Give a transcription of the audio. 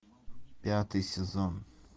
пятый сезон